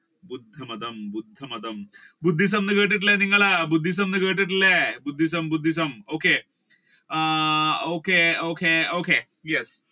ബുദ്ധമതം ബുദ്ധമതം ബുദ്ധിസം എന്ന് കേട്ടിട്ടില്ലേ നിങ്ങൾ കേട്ടിട്ടില്ലേ നിങ്ങൾ Buddhism Buddhism okay ah okay okay yes